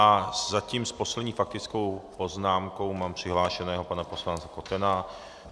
A zatím s poslední faktickou poznámkou mám přihlášeného pana poslance Kotena.